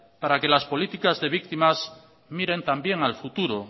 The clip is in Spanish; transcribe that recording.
para que las políticas de víctimas miren también al futuro